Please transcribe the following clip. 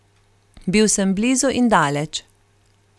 Bil sem blizu in daleč.